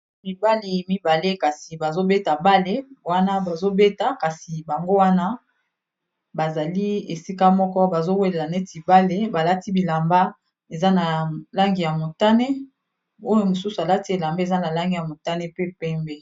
mibali mibale kasi bazobeta bale wana bazobeta kasi bango wana bazali esika moko bazowelela neti bale balati bilamba eza na langi ya motane oyo mosusu alati elamba eza na langi ya motane pe pembe